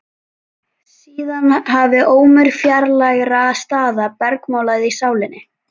Síðan hafði ómur fjarlægra staða bergmálað í sálinni.